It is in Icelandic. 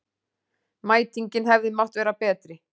Mætingin hefði mátt vera betri